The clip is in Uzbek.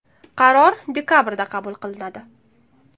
Qaror dekabrda qabul qilinadi.